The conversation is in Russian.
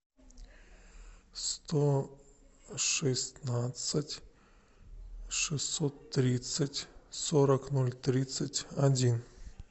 сто шестнадцать шестьсот тридцать сорок ноль тридцать один